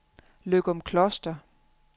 Løgumkloster